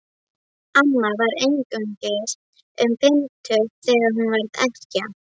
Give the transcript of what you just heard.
Amma var einungis um fimmtugt þegar hún varð ekkja.